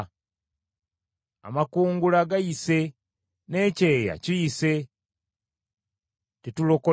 “Amakungula gayise, n’ekyeya kiyise, tetulokolebbwa.”